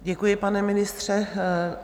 Děkuji, pane ministře.